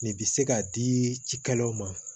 Nin bi se k'a di cikɛlaw ma